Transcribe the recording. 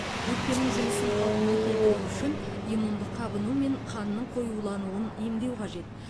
өкпенің жұмысын қалпына келтіру үшін иммундық қабыну мен қанның қоюлануын емдеу қажет